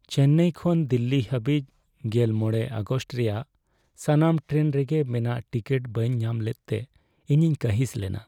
ᱪᱮᱱᱱᱟᱭ ᱠᱷᱚᱱ ᱫᱤᱞᱞᱤ ᱦᱟᱹᱵᱤᱡ ᱑᱕ ᱟᱜᱚᱥᱴ ᱨᱮᱭᱟᱜ ᱥᱟᱱᱟᱢ ᱴᱨᱮᱱ ᱨᱮᱜᱮ ᱢᱮᱱᱟᱜ ᱴᱤᱠᱤᱴ ᱵᱟᱹᱧ ᱧᱟᱢ ᱞᱮᱫᱛᱮ ᱤᱧᱤᱧ ᱠᱟᱺᱦᱤᱥ ᱞᱮᱱᱟ ᱾